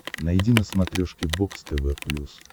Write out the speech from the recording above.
найди на смотрешке бокс тв плюс